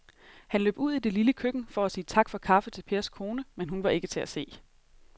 Han løb ud i det lille køkken for at sige tak for kaffe til Pers kone, men hun var ikke til at se.